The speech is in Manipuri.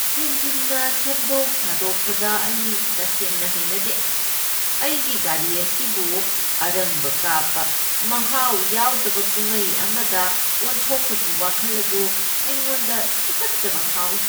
ꯍꯦꯟꯖꯤꯟꯅ ꯁꯦꯝꯗꯣꯛ ꯁꯥꯗꯣꯛꯄꯗ ꯑꯩ ꯇꯁꯦꯡꯅ ꯍꯩꯅꯗꯦ꯫ ꯑꯩꯒꯤ ꯒꯥꯔꯤ ꯑꯁꯤꯕꯨ ꯑꯔꯪꯕ ꯀꯥꯞꯄ, ꯃꯍꯥꯎ ꯌꯥꯎꯗꯕ ꯀꯨꯝꯍꯩ ꯑꯃꯗ ꯑꯣꯟꯊꯣꯛꯄꯒꯤ ꯋꯥꯈꯜ ꯑꯗꯨ ꯑꯩꯉꯣꯟꯗ ꯇꯨꯀꯠꯆꯕ ꯐꯥꯎꯏ꯫